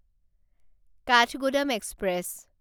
Kathgodam express